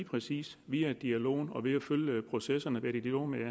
præcis via dialogen og ved at følge processerne være i dialog med